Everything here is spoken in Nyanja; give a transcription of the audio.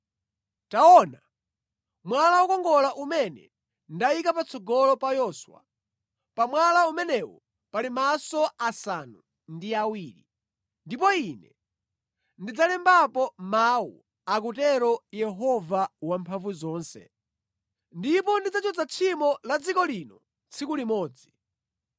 Taona, mwala wokongola umene ndayika patsogolo pa Yoswa! Pa mwala umenewu pali maso asanu ndi awiri, ndipo Ine ndidzalembapo mawu,’ akutero Yehova Wamphamvuzonse, ‘ndipo ndidzachotsa tchimo la dziko lino tsiku limodzi.